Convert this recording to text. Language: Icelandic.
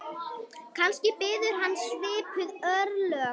Kannski biðu hans svipuð örlög.